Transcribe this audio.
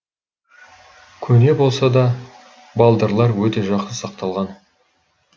көне болса да балдырлар өте жақсы сақталған